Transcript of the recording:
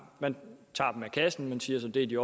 man tager dem af kassen og siger så at det er de